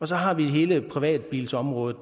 der hele privatbilsområdet